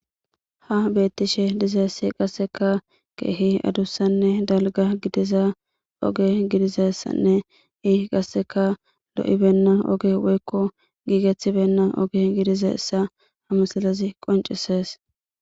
Ha betishe dizayis qaseka kehi adusanee daliga gididaza oge gidizaysanee i qaseka be'ibeyina oge woyiko gigetebeyina oge gizizaysa ha misilezi qonicises